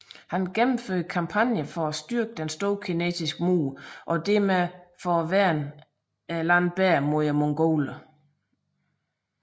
Han gennemførte kampagner for at styrke Den store kinesiske mur og dermed værne landet bedre mod mongolerne